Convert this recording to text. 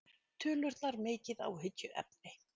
Tölurnar mikið áhyggjuefni